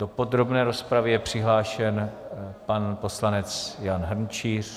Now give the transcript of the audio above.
Do podrobné rozpravy je přihlášen pan poslanec Jan Hrnčíř.